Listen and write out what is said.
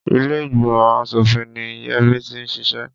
Ilé ìgbìmọ̀ aṣòfin ni Yẹmí ti ń ṣiṣẹ́.